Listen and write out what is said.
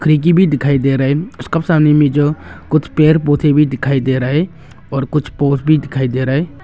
खिड़की भी दिखाई दे रहा है उसके सामने में जो कुछ पेड़ पौधा दिखाई दे रहा है और कुछ पोल भी दिखाई दे रहा है।